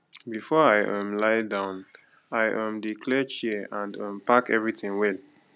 before i um lie down i um dey clear chair and um pack everything well